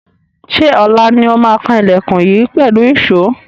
Ṣé ọ̀la ni ó máa kan ilẹkùn yìí pẹ̀lú ìṣó?